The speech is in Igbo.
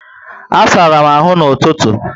A sárá m áhù na ụtụtụ